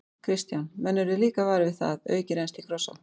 Kristján: Menn urðu líka varir við það, aukið rennsli í Krossá?